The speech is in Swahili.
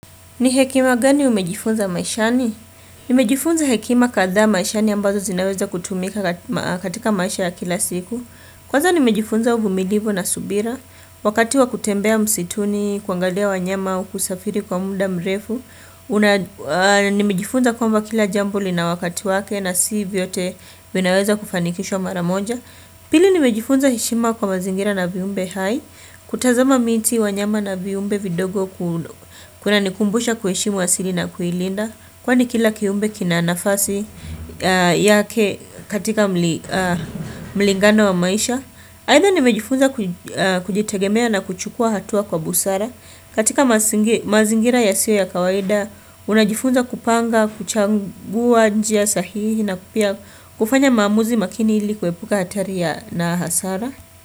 Ni hekima gani umejifunza maishani? Nimejifunza hekima kadhaa maishani ambazo zinaweza kutumika katika maisha ya kila siku. Kwanza nimejifunza uvumilivu na subira. Wakati wa kutembea msituni, kuangalia wanyama, kusafiri kwa muda mrefu. Nimejifunza kwamba kila jambo lina wakati wake na si vyote vinaweza kufanikishwa mara moja. Pili nimejifunza heshima kwa mazingira na viumbe hai. Kutazama miti wanyama na viumbe vidogo kunanikumbusha kuheshimu asili na kuilinda Kwani kila kiumbe kina nafasi yake katika mlingano wa maisha Aidhaa nimejifunza kujitegemea na kuchukua hatua kwa busara katika mazingira yasiyo ya kawaida Unajifunza kupanga, kuchagua njia sahihi na pia kufanya maamuzi makini ilikuwepuka hatari ya na hasara.